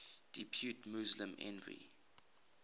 depute muslim envoy